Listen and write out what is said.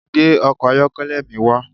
Gbe ọkọ̀ ayọ́kẹ́lẹ́ mi wa